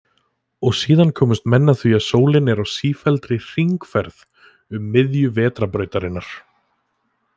Og síðan komust menn að því að sólin er á sífelldri hringferð um miðju Vetrarbrautarinnar.